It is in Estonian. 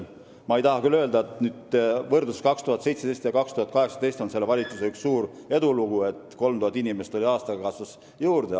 Ma ei tahaks öelda, et 2017. ja 2018. aasta võrdluses on selle valitsuse üks suur edulugu see, et 3000 inimest tuli aastaga juurde.